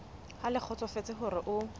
ha le kgotsofetse hore o